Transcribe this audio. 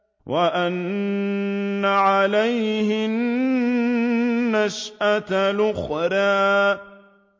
وَأَنَّ عَلَيْهِ النَّشْأَةَ الْأُخْرَىٰ